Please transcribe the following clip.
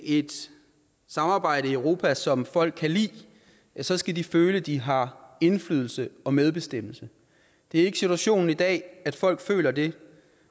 et samarbejde i europa som folk kan lide så skal de føle de har indflydelse og medbestemmelse det er ikke situationen i dag at folk føler det